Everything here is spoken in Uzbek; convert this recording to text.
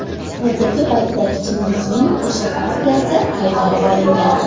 Hozirgi paytda ichimlikning o‘sha partiyasi qaytarib olingan.